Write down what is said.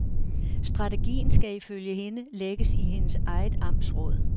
Strategien skal ifølge hende lægges i hendes eget amtsråd.